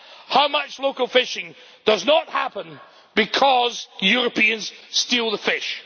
How much local fishing does not happen because Europeans steal the fish?